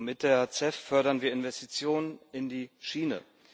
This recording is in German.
Mit der CEF fördern wir Investitionen in die Schiene.